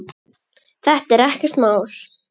Þetta er ekkert mál!